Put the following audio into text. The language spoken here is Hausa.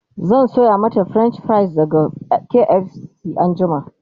zan Sayo mata french fries daga KFC anjima